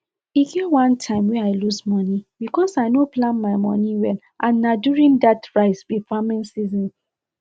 e get one time wey i lose money because i no plan my money well n na during dat rice um farming season